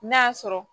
N'a sɔrɔ